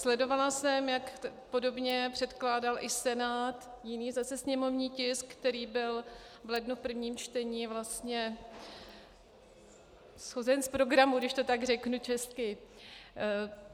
Sledovala jsem, jak podobně předkládal i Senát jiný zase sněmovní tisk, který byl v lednu v prvním čtení vlastně shozen z programu, když to tak řeknu česky.